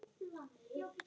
Engin Esja í kvöld.